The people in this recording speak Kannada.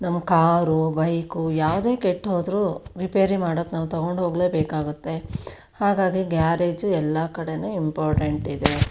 ನಮ್ಮ ಕಾರು ಬೈಕ್ ಯಾವದೆ ಕೆಟ್ಟುಹೋದ್ರು ರಿಪೇರಿ ಮಾಡಕ್ಕೆ ನಾವು ತೊಕೊಂಡು ಹೋಗ್ಲೆ ಬೇಕಾಗುತ್ತೆ ಹಾಗಾಗಿ ಗ್ಯಾರೇಜ್ ಎಲ್ಲಾ ಕಡೆನೂ ಇಂಪಾರ್ಟೆಂಟ್ ಇದೆ.